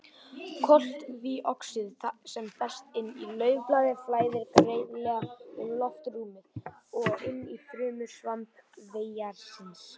Koltvíoxíð sem berst inn í laufblaði flæðir greiðlega um loftrúmið og inn í frumur svampvefjarins.